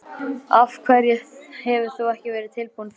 Af hverju hefur þú ekki verið tilbúin fyrr?